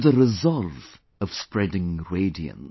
To the resolve of spreading radiance